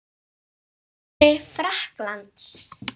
Þjálfari Frakklands?